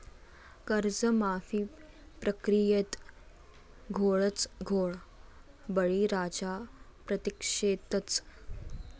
कर्जमाफी प्रक्रियेत घोळच घोळ, बळीराजा प्रतीक्षेतच